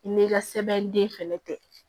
I n'i ka sɛbɛnden fɛnɛ kɛ